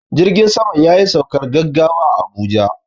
Jirgin saman yayi saukar gaggawa a Abuja.